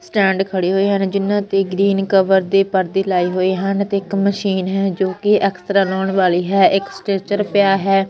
Stand ਖੜੇ ਹੋਏ ਹਨ ਜਿੰਨਾ ਤੇ ਗਰੀਨ ਕਵਰ ਦੇ ਪਰਦੇ ਲਾਏ ਹੋਏ ਹਨ ਤੇ ਇੱਕ ਮਸ਼ੀਨ ਹੈ ਜੋ ਕਿ ਐਕਸਰਾ ਲਾਉਣ ਵਾਲੀ ਹੈ ਇੱਕ ਸਟ੍ਰੈਕਚਰ ਪਿਆ ਹੈ।